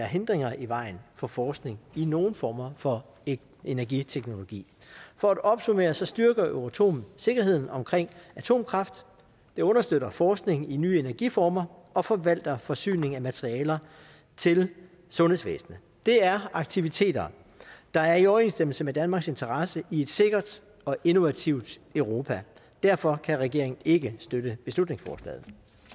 hindringer i vejen for forskning i nogen former for energiteknologi for at opsummere så styrker euratom sikkerheden omkring atomkraft det understøtter forskning i nye energiformer og forvalter forsyning af materialer til sundhedsvæsenet det er aktiviteter der er i overensstemmelse med danmarks interesse i et sikkert og innovativt europa derfor kan regeringen ikke støtte beslutningsforslaget